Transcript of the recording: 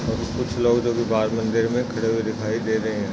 और कुछ लोग जो की बाहर मंदिर मे खड़े हुए दिखाई दे रहे है।